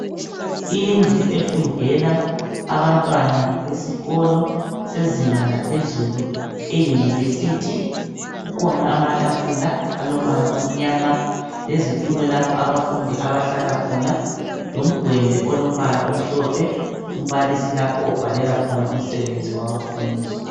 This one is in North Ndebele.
Indlu efundela abantwana besikolo sezinga laphezulu. Eyunivesithi kukhona amatafula alombala omnyama lezitulo lapho abafundi abahlala khona lomgwembe olombala omhlophe umbalisi lapho obhalela khona umsebenzi wabafundi.